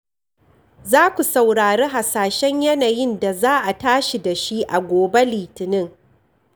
Za ku saurari hasashen yanayin da za a tashi da shi a gobe Litinin.